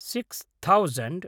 six thousand